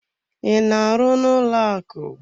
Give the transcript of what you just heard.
I na-arụ n'ụlọaku?